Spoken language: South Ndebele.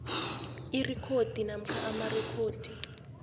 irekhodi namkha amarekhodi